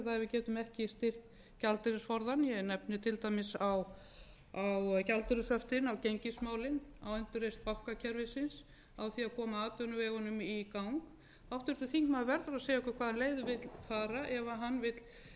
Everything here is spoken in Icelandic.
getum ekki styrkt gjaldeyrisforðann ég nefndi til dæmis á gjaldeyrishöftin á gengismálin á endurreisn bankakerfisins á það að koma atvinnuvegunum í gang háttvirtur þingmaður verður að segja okkur hvaða leið hann vill fara ef hann vill vísa bara málum hér